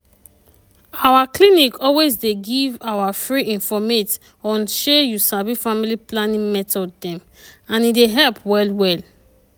our clinic always dey give our free informate onshey you sabi family planning method dem and e dey help well well.